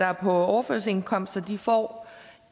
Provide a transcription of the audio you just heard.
er på overførselsindkomst får